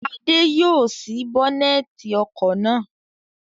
Adé yóò ṣí bónẹ́tì ọkọ̀ náà.